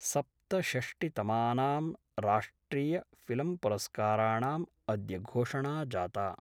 सप्तषष्टितमानाम् राष्ट्रियफिल्म्पुरस्काराणाम् अद्य घोषणा जाता।